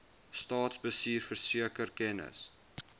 staatsbestuur verseker kennis